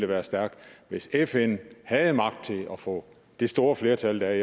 være stærkt hvis fn havde magt til at få det store flertal der er